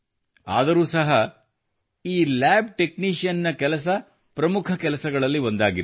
ಆದರೂ ಸಹ ಈ ಲ್ಯಾಬ್ ಟೆಕ್ನೀಷಿಯನ್ ನ ಕೆಲಸ ಪ್ರಮುಖ ಕೆಲಸಗಳಲ್ಲಿ ಒಂದಾಗಿದೆ